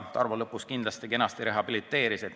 Tarmo lõpus küll kenasti rehabiliteeris end.